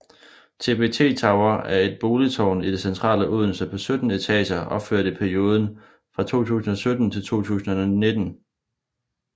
TBT Tower er et boligtårn i det centrale Odense på 17 etager opført i perioden fra 2017 til 2019